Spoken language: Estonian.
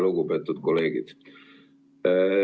Lugupeetud kolleegid!